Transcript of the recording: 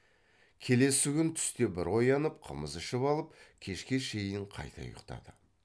келесі күн түсте бір оянып қымыз ішіп алып кешке шейін қайта ұйықтады